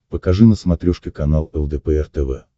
покажи на смотрешке канал лдпр тв